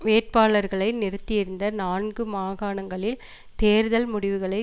வேட்பாளர்களை நிறுத்தியிருந்த நான்கு மாகாணங்களில் தேர்தல் முடிவுகளை